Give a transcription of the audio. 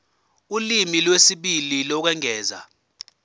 ulimi lwesibili lokwengeza